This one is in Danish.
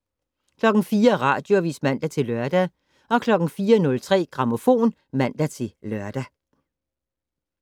04:00: Radioavis (man-lør) 04:03: Grammofon (man-lør)